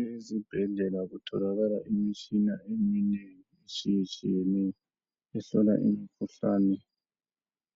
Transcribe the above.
Ezibhedlela kutholakala imitshina eminengi etshiye tshiyeneyo ehlola imikhuhlane